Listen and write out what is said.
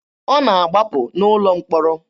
Ọ na-agbapụ n'ụlọ mkpọrọ.